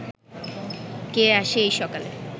কে আসে এই সকালে